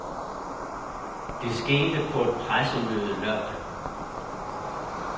Det skete på et pressemøde lørdag.